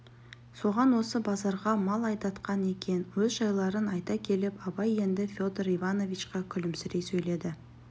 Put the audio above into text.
соған осы базарға мал айдатқан екен өз жайларын айта келіп абай енді федор ивановичқа күлімсірей сөйледі